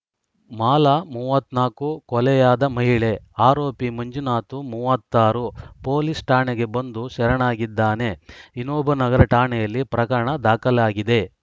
ಮಾಲಾ ಮೂವತ್ತ್ ನಾಲ್ಕು ಕೊಲೆಯಾದ ಮಹಿಳೆ ಆರೋಪಿ ಮಂಜುನಾಥ್‌ ಮೂವತ್ತ್ ಆರು ಪೊಲೀಸ್‌ ಠಾಣೆಗೆ ಬಂದು ಶರಣಾಗಿದ್ದಾನೆ ವಿನೋಬನಗರ ಠಾಣೆಯಲ್ಲಿ ಪ್ರಕರಣ ದಾಖಲಾಗಿದೆ